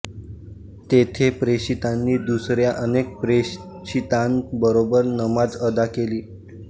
तेथे प्रेषितांनी दुसऱ्या अनेक प्रेषितांबरोबर नमाज अदा केली